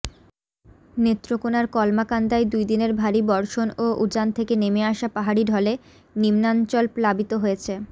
নেত্রকোনার কলমাকান্দায় দুইদিনের ভারী বর্ষণ ও উজান থেকে নেমে আসা পাহাড়ি ঢলে নিম্নাঞ্চল প্লাবিত হয়েছে